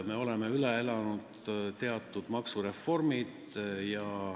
Me oleme üle elanud teatud maksureformid.